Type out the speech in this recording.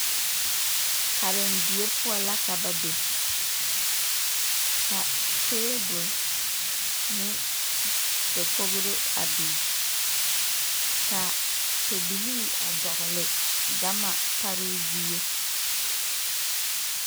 Karendie poɔ la ka ba be ka tabol ne dakogro a biŋ ka pɛbilii a dɔgle gama paroo zie.